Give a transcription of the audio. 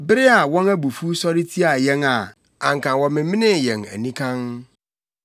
bere a wɔn abufuw sɔre tiaa yɛn a anka wɔmemenee yɛn anikann;